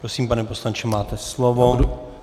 Prosím, pane poslanče, máte slovo.